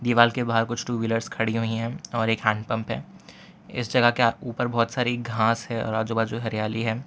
दीवाल के बाहर कुछ टू व्हीलर्स खड़ी हुई है और एक हैंड पंप है इस जगह के आप ऊपर बहोत सारी घास है और आजू बाजू हरियाली है।